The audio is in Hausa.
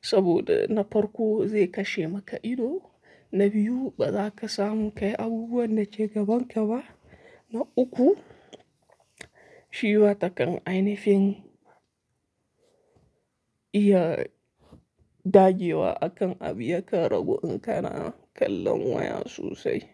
saboda na farko zai kashe maka ido, na biyu baza ka samu ka yi abubuwan da ke gabanka ba, na uku shi watakan ainihin iya dage wa akan abu ya karagu in kana kallon waya sosai.